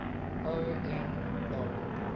o n log